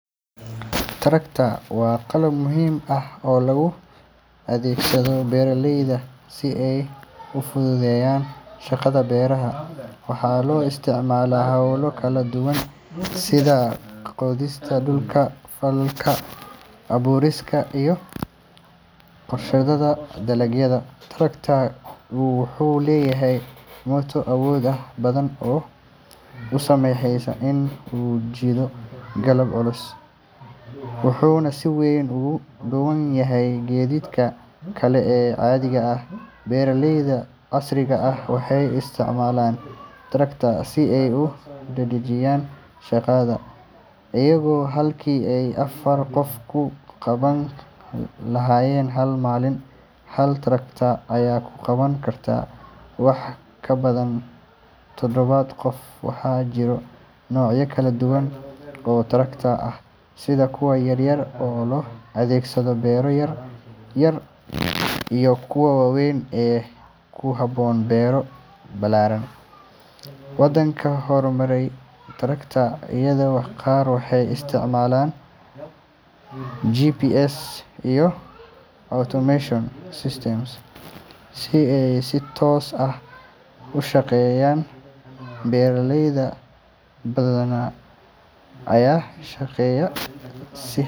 Tractor waa qalab muhiim ah oo loo adeegsado beeralayda si ay u fududeeyaan shaqada beeraha. Waxaa loo isticmaalaa hawlo kala duwan sida qodista dhulka, falkinta, abuurista, iyo goosashada dalagyada. Tractor-ka wuxuu leeyahay matoor awood badan oo u saamaxaya in uu jiido qalab culus, wuxuuna si weyn uga duwan yahay gaadiidka kale ee caadiga ah. Beeraleyda casriga ah waxay isticmaalaan tractor si ay u dedejiyaan shaqada, iyagoo halkii ay afar qof ku qaban lahaayeen hal maalin, hal tractor ayaa ku qaban kara wax ka badan toddoba qof. Waxaa jira noocyo kala duwan oo tractor ah, sida kuwa yaryar ee loo adeegsado beero yar yar iyo kuwa waaweyn ee ku habboon beero ballaaran. Wadamada horumaray, tractor-yada qaar waxay isticmaalaan GPS iyo automation systems si ay si toos ah u shaqeeyaan. Beeraley badan ayaa sheegaya.